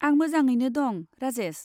आं मोजाङैनो दं, राजेस।